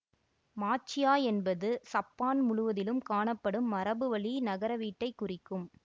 மாச்சியா என்பது சப்பான் முழுவதிலும் காணப்படும் மரபுவழி நகரவீட்டைக் குறிக்கும்